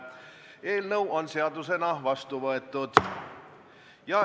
Eelnõu on seadusena vastu võetud.